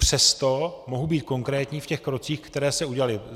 Přesto mohu být konkrétní v těch krocích, které se udělaly.